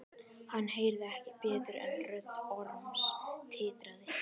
Hann heyrði ekki betur en rödd Orms titraði.